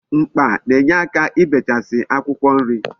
Mkpa na-enyeaka n'ibechasi akwukwo nri